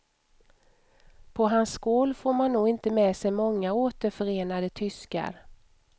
På hans skål får man nog inte med sig många återförenade tyskar.